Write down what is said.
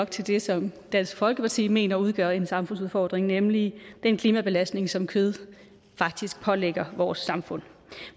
til det som dansk folkeparti mener udgør en samfundsudfordring nemlig den klimabelastning som kød faktisk pålægger vores samfund